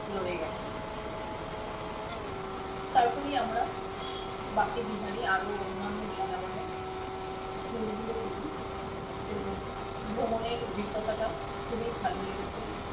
রয়ে গেছে তারপুরি আমরা বাকি দিহারি আরো অন্যান্য বিন্দা বনের tour গুলো করি তো ভ্রমনের অভিজ্ঞতাটা খুবি ভালোলেগেছে